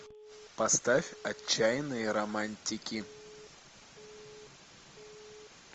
поставь отчаянные романтики